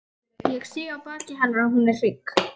Ég sé á baki hennar að hún er hrygg.